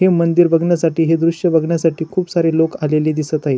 हे मंदिर बगण्यासाठी हे दृश्य बगण्यासाठी खुप सारे लोक आलेली दिसत आहेत.